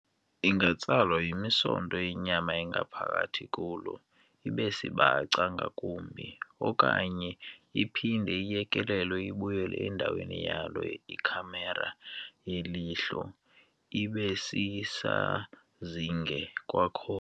Ingatsalwa yimisonto yemyama engaphakathi kulo ibesibaca ngakumbi, okanye iphinde iiyekelele ibuyele endaweni yalo ikhamera yelihlo ibesisazinge kwakhona.